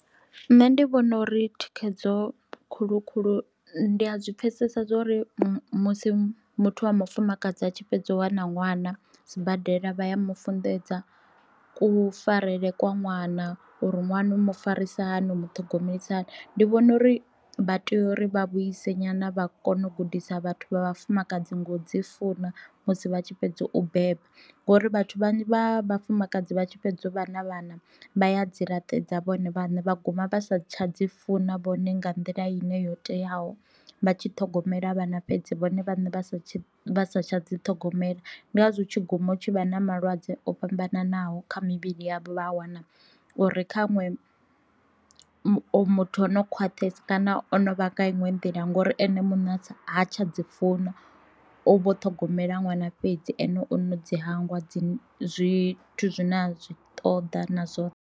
Nṋe ndi vhona uri thikhedzo khulu khulu ndi a zwi pfesesa zwa uri musi muthu wa mufumakadzi a tshi fhedza u wana ṅwana sibadela vha ya mufunḓedza kufarele kwa ṅwana, uri ṅwana u mu farisa hani u muṱhogomeli hani. Ndi vhona uri vha tea uri vha vhuise nyana vha kona u gudisa vhathu vha vhafumakadzi ngo dzi funa musi vha tshi fhedza u beba, ngori vhathu vhanzhi vha vhafumakadzi vha tshi fhedza vhana vhana vha ya dzi laṱedza vhone vhaṋe vha guma vha sa tsha dzi funa vhone nga nḓila ine yo teaho vha tshi ṱhogomela vhana fhedzi vhone vhaṋe vha sa vha satsha dzi ṱhogomela. Ndi ngazwo hu tshi guma hu tshi vha na malwadze o fhambananaho kha mivhili yavho vha a wana uri kha ṅwe muthu o no khwaṱhisa kana o no vha nga iṅwe nḓila ngori ene muṋe ha tsha dzi funa u vho ṱhogomela ṅwana fhedzi ane o no dzi hangwa dzi zwithu zwi na zwi ṱoḓa na zwoṱhe.